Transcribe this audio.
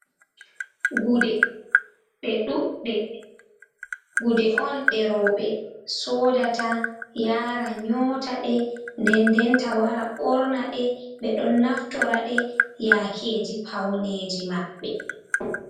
Gude ɗe ɗuuɗɗe, Gude on ɗe rowɓe soodata yaara nyoota ɗe, ndenndenta wara ɓorna ɗe, ɓe ɗon naftora ɗe yaakeeji pawneeji maɓɓe.